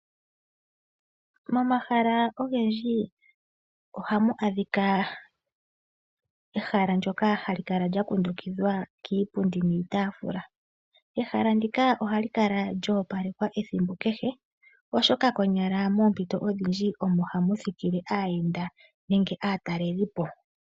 Momahala ogendji ohamu adhika ehala ndyoka hali kala lya kundukidhwa kiipundi niitaafula. Ehala ndika ohali kala lyoopalekwa ethimbo kehe oshoka konyala moompito odhindji omo hamu thikile aayenda nenge aatalelipo